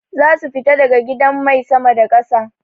Zasu fita daga gidan mai sama da ƙasa.